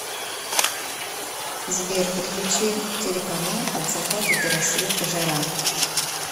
сбер подключи телеканал от заката до рассвета жара